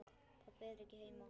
Pabbi er ekki heima.